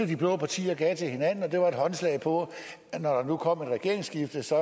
de blå partier havde givet hinanden og det var et håndslag på at når der nu kom et regeringsskifte så